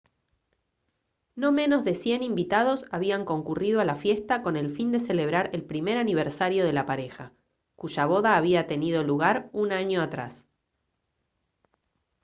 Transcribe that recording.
no menos de 100 invitados habían concurrido a la fiesta con el fin de celebrar el primer aniversario de la pareja cuya boda había tenido lugar un año atrás